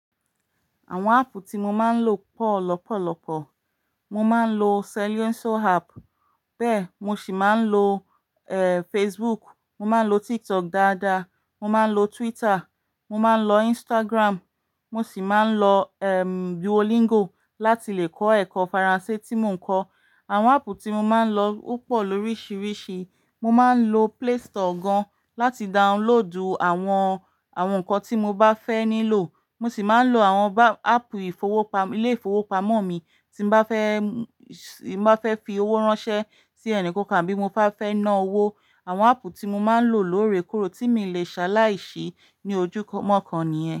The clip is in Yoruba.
Àwọn áàpù tí mo máa ń lò pọ̀ lọ́pọ̀lọ́pọ̀. Mo máa ń lo Celioso app, bẹ́ẹ̀ mo sì máa ń lo, eh, Facebook, mo máa ń lo TikTok dáadáa, mo máa ń lo Twitter, mo máa ń lo Instagram, mo sì máa ń lo, ehm, Duolingo láti lè kọ́ ẹ̀kọ́ Faransé tí mò ń kọ́. Àwọn áppù tí mo máa ń lò o pọ̀ lóríṣiríṣi. Mo máa ń lo Play Store gan láti download àwọn, àwọn nǹkan tí mo bá fẹ́ nílò. Mo sì máa ń lo àwọn bá-- ápp ìfowó pam-- ilé-ìfowópamọ́ mi tí mo bá fẹ́, tí mo bá fẹ́ fi owó ránṣẹ́ sí ẹni kankan bí mo bá fẹ́ ná owó. Àwọn ápp tí mo máa ń lò lóore kóre tí mi le ṣa láìsí ní ojúmọ́ kàn ni ẹ.